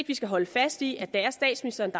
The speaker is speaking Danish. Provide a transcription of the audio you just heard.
vi skal holde fast i at det er statsministeren